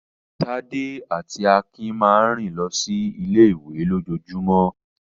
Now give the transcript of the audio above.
Tádé àti Akin máa ń rìn lọ sí ilé-ìwé lójoojúmọ́.